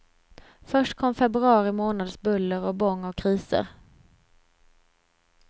Först kom februari månads buller och bång och kriser.